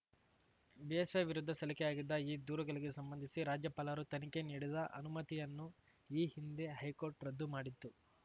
BSY ವಿರುದ್ಧ ಸಲ್ಲಿಕೆಯಾಗಿದ್ದ ಈ ದೂರುಗಳಿಗೆ ಸಂಬಂಧಿಸಿ ರಾಜ್ಯಪಾಲರು ತನಿಖೆ ನೀಡಿದ ಅನುಮತಿಯನ್ನು ಈ ಹಿಂದೆ ಹೈಕೋರ್ಟ್‌ ರದ್ದು ಮಾಡಿತ್ತು